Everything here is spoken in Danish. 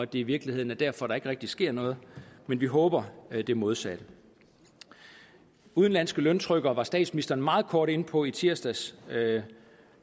det i virkeligheden er derfor at der ikke rigtig sker noget men vi håber det modsatte udenlandske løntrykkere var statsministeren meget kort inde på i tirsdags det